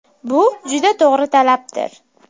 Bu juda to‘g‘ri talabdir.